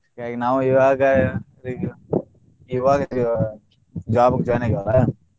ಹಿಂಗಾಗಿ ನಾವು ಇವಾಗ ಇವಾಗ job ಗ join ಆಗೇವ.